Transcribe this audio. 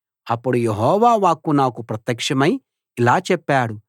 అప్పుడు యెహోవా వాక్కు నాకు ప్రత్యక్షమై ఇలా చెప్పాడు